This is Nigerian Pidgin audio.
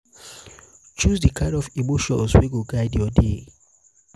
choose di kind of emotions wey go guide yur day.